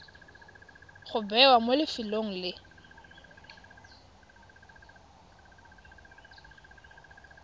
go bewa mo lefelong le